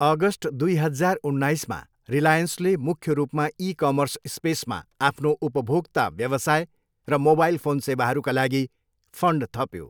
August दुई हजार उन्नाइसमा रिलायन्सले मुख्य रूपमा इ कमर्स स्पेसमा आफ्नो उपभोक्ता व्यवसाय र मोबाइल फोन सेवाहरूका लागि फाइन्ड थप्यो।